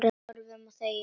Horfum og þegjum.